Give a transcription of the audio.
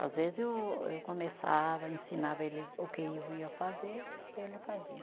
Às vezes o, eu começava, ensinava ele o que eu ia fazer, ele fazia.